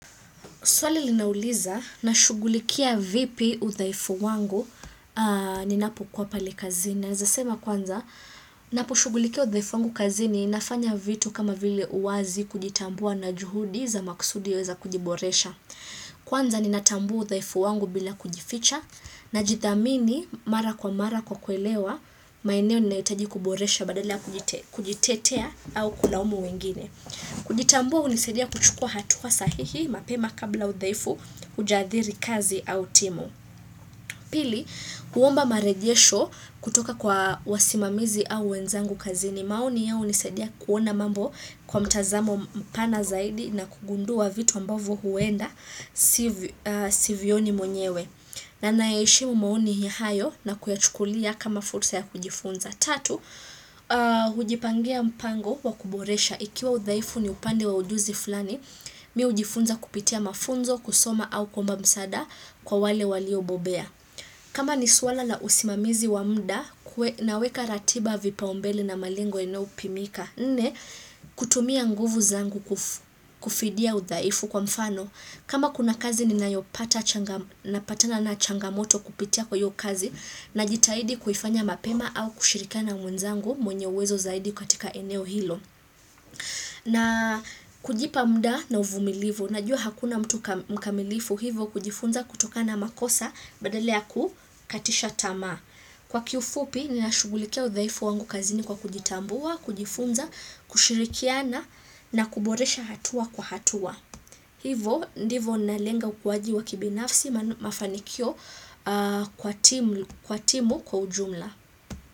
Swali linauliza na shugulikia vipi udhaifu wangu ninapo kuwa pale kazini. Naezasema kwanza, napu shugulikia udhaifu wangu kazini nafanya vitu kama vile uwazi kujitambua na juhudi za maksudi za kujiboresha. Kwanza ninatambua ufhaifu wangu bila kujificha najithamini mara kwa mara kwa kuelewa, maeneo ninayihitaji kuboresha badala kujitetea au kulaumu wengine. Kujitambua hunisadia kuchukua hatua sahihi mapema kabla udhaifu hujadhiri kazi au timu Pili, huomba marejesho kutoka kwa wasimamizi au wenzangu kazini maoni ya hunisadia kuona mambo kwa mtazamo mpana zaidi na kugundua vitu ambavo huenda sivioni mwenyewe na na ya heshimu maoni hayo na kuyachukulia kama fursa ya kujifunza Tatu, hujipangia mpango wa kuboresha. Ikiwa udhaifu ni upande wa ujuzi fulani, mimi hujifunza kupitia mafunzo, kusoma au kuomba msaada kwa wale walio bobea. Kama ni swala la usimamizi wa muda, naweka ratiba vipao mbele na malengo yanayo pimika. Nne, kutumia nguvu zangu kufidia udhaifu kwa mfano. Kama kuna kazi ni nayo pata changa patana na changamoto kupitia kwa iyo kazi, na jitaidi kuifanya mapema au kushirika na mwenzangu mwenye uwezo zaidi katika eneo hilo. Na kujipa muda na uvumilifu. Najua hakuna mkamilifu hivo kujifunza kutoka na makosa badala kukatisha tamaa. Kwa kiufupi nina shugulikia uhhaifu wangu kazini kwa kujitambua, kujifunza, kushirikiana na kuboresha hatua kwa hatua. Hivo ndivo nalenga ukuwaji wa kibinafsi mafanikio kwa timu kwa ujumla.